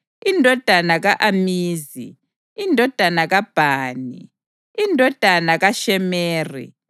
indodana ka-Amizi, indodana kaBhani, indodana kaShemeri,